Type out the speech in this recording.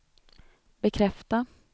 bekräfta